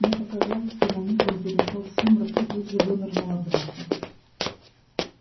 мне показалось что на миг он перешёл в сумрак и тут же вынырнул обратно